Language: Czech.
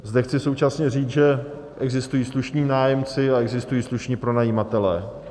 Zde chci současně říct, že existují slušní nájemci a existují slušní pronajímatelé.